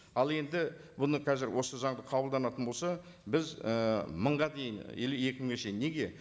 ал енді бұны қазір осы заңды қабылданатын болса біз і мыңға дейін или екі мыңға шейін неге